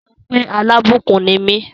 Say I am a blessing!